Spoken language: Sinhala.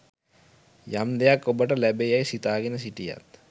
යම් දෙයක් ඔබට ලැබේ යැයි සිතාගෙන හිටියත්